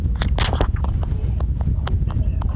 Elsku Jenna.